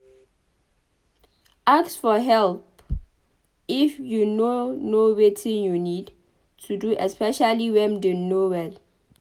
Ask for help if you no know wetin you need to do especially when dem no well